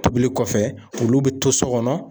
Tobili kɔfɛ olu bɛ to so kɔnɔ.